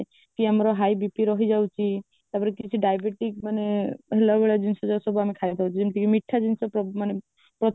କି ଆମର high BP ରହିଯାଉଛି ତ ପରେ କିଛି diabetic ମାନେ ହେଲା ଭଳିଆ ଜିନିଷଗୁଡକୁ ଆମେ ଖାଇବା ଯେମିତି କି ମିଠା ଜିନିଷ ମାନେ